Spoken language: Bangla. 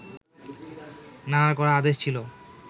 নানার কড়া আদেশ ছিল